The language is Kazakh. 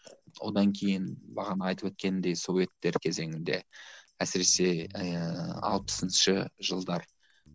одан кейін бағана айтып өткенімдей советтер кезеңінде әсіресе ііі алпысыншы жылдар